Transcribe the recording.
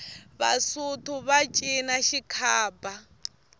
vasotho va cina xikhaba